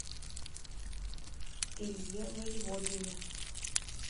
илье воеводине